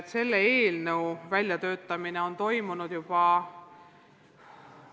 Selle eelnõu väljatöötamine on kestnud juba kaua.